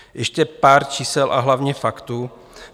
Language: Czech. Ještě pár čísel a hlavně faktů.